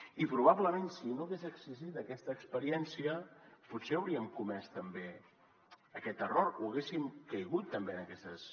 i probablement si no hagués existit aquesta experiència potser hauríem comès també aquest error o haguéssim caigut també en aquestes